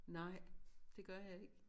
Nej det gør jeg ikke